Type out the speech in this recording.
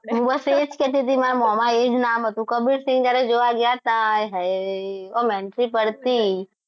બસ એ જ કહેતી હતી માર મોમાં એ જ નામ હતું કબીરસિંહ જ્યારે જોવા ગયા હતા હાય હાય ઓમ entry પડતી